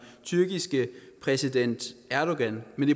tyrkiske præsident erdogan men